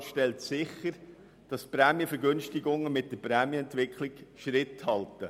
Beide Anträge stellen sicher, dass die Prämienvergünstigungen mit der Prämienentwicklung Schritt halten.